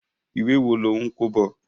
Ìwé wo lò ń kó bọ̀?